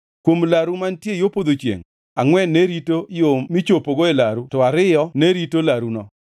Kuom laru mantie yo podho chiengʼ, angʼwen ne rito yo michopogo e laru to ariyo ne rito laruno.